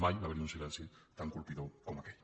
mai hi havia hagut un silenci tan colpidor com aquell